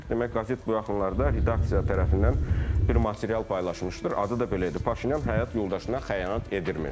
Demək qəzet bu yaxınlarda redaksiya tərəfindən bir material paylaşmışdır, adı da belə idi: Paşinyan həyat yoldaşına xəyanət edibmiş.